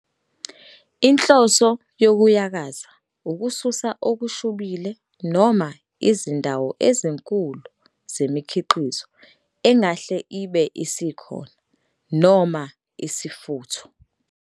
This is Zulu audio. Inhloso yokuyakaza ukususa okushubile noma izindawo ezinkulu zemikhiqizo engahle ibe isekhona noma isifutho.